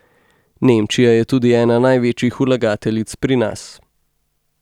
Nemčija je tudi ena največjih vlagateljic pri nas.